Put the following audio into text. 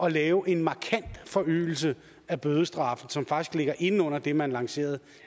at lave en markant forøgelse af bødestraffe som faktisk ligger inde under det man lancerede